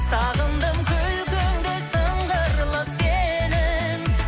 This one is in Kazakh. сағындым күлкіңді сыңғырлы сенің